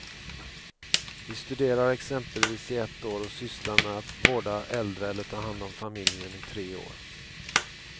Vi studerar exempelvis i ett år och sysslar med att vårda äldre eller ta hand om familjen i tre år.